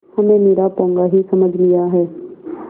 हमें निरा पोंगा ही समझ लिया है